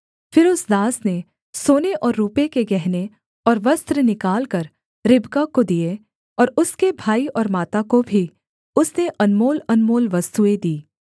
फिर उस दास ने सोने और रूपे के गहने और वस्त्र निकालकर रिबका को दिए और उसके भाई और माता को भी उसने अनमोलअनमोल वस्तुएँ दीं